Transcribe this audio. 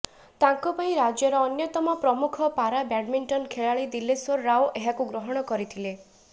ତାଙ୍କ ପାଇଁ ରାଜ୍ୟର ଅନ୍ୟତମ ପ୍ରମୁଖ ପାରା ବ୍ୟାଡମିଣ୍ଟନ୍ ଖେଳାଳି ଦିଲେଶ୍ବର ରାଓ ଏହାକୁ ଗ୍ରହଣ କରିଥିଲେ